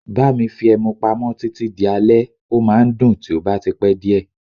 Bá mi fi ẹmu pamọ́ títí di alẹ́, ó máa ń dùn tí ó bá ti pẹ́ díẹ̀.